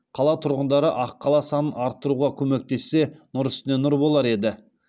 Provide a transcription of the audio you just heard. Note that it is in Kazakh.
қала тұрғындары аққала санын арттыруға көмектессе нұр үстіне нұр болар еді